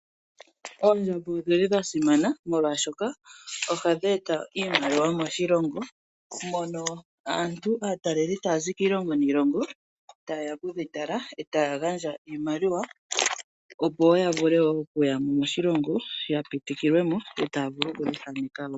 Oondjamba odhili dha simana molwaashoka ohadhi eta iimaliwa moshilongo. Mono aantu aataleli haya zi kiilongo niilongo taye ya okudhi tala etaya gandja iimaliwa opo woo ya vule okuya moshilongo ya pitikilwe mo etaya vulu oku dhi thaaneka woo